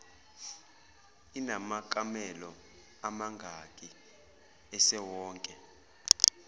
inamakamelo amangaki esewonke